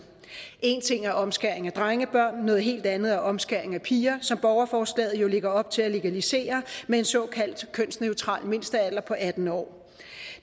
en ting er omskæring af drengebørn noget helt andet er omskæring af piger som borgerforslaget jo lægger op til at legalisere med en såkaldt kønsneutral mindstealder på atten år